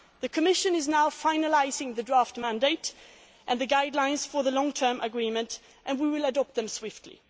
The Commission is now finalising the draft mandate and the guidelines for the long term agreement and we will adopt them swiftly.